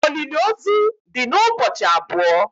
Olili ozu di n' ụbọchị abụọ